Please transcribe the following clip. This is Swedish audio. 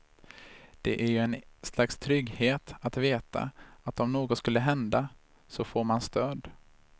Det är ju en slags trygghet att veta att om något skulle hända, så får man stöd.